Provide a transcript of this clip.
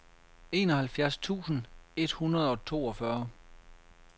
enoghalvfjerds tusind et hundrede og toogfyrre